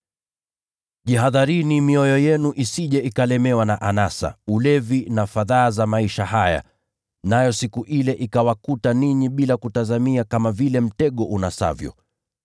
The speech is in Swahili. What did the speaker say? “Jihadharini mioyo yenu isije ikalemewa na anasa, ulevi na fadhaa za maisha haya, nayo siku ile ikawakuta ninyi bila kutazamia kama vile mtego unasavyo.